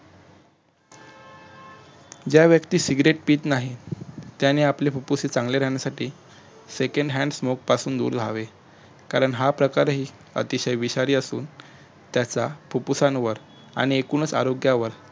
ज्या व्यक्ती सिगरेट पीत नाहीत त्याने आपली फुप्फुसे चांगले राहण्यासाठी second hand smoke पासून दूर राहावे कारण हा प्रकार ही अतिशय विषारी असुन त्याचा फुप्फुसांवर आणि एकूणच आरोग्यावर